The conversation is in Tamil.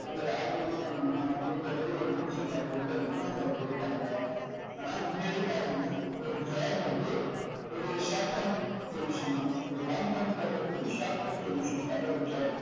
நம்ம யாருக்கும் இது பண்ண வேணாம் அப்படின்ற மாதிரி ஒரு mindset ல அவங்க இருக்கிறதுனால அவங்க அப்படி இருக்காங்க. ஆனா உண்மையிலே பாத்தீங்கன்னா ஒரு job வந்து ஒரு short-term solution தான். ஒரு long-term problem க்கு short-term solution தான் ஒரு job